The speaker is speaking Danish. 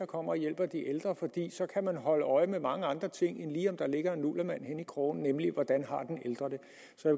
kommer og hjælper de ældre for så kan man holde øje med mange andre ting end lige om der ligger en nullermand henne i krogen nemlig hvordan